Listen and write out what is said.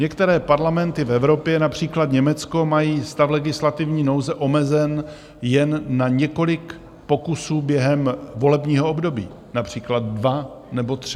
Některé parlamenty v Evropě, například Německo, mají stav legislativní nouze omezen jen na několik pokusů během volebního období, například dva nebo tři.